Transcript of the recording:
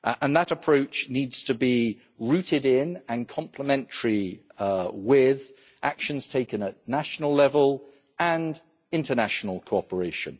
That approach needs to be rooted in and complementary with actions taken at national level and international cooperation.